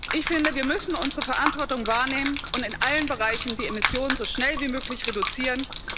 Ich finde, wir müssen unsere Verantwortung wahrnehmen und in allen Bereichen die Emissionen so schnell wie möglich reduzieren.